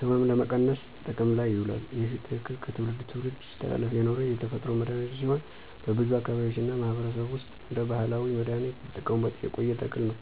ሕመምን ለመቀነስ ጥቅም ላይ ይውላል። ይህ ተክል ከትውልድ ትውልድ ሲተላለፍ የኖረ የተፈጥሮ መድሀኒት ሲሆን በብዙ አካባቢዎች እና ማህበረሰብ ውስጥ እንደ ባህላዊ መድሃኒት እየተጠቀሙበት የቆየ ተክል ነው።